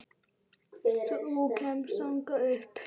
Þú kemst þangað upp.